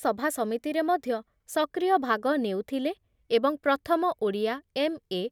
ସଭା ସମିତିରେ ମଧ୍ୟ ସକ୍ରିୟ ଭାଗ ନେଉଥିଲେ ଏବଂ ପ୍ରଥମ ଓଡ଼ିଆ ଏମ୍ ଏ